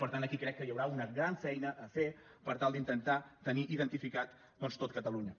per tant aquí crec que hi haurà una gran feina a fer per tal d’intentar tenir identificat doncs tot catalunya